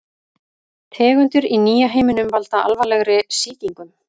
Tegundir í nýja heiminum valda alvarlegri sýkingum.